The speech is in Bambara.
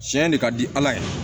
Tiɲɛ de ka di ala ye